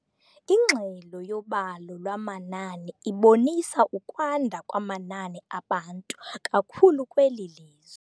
Ingxelo yobalo lwamanani ibonisa ukwanda kwamanani abantu kakhulu kweli lizwe.